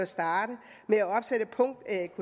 starte med at opsætte punkt atk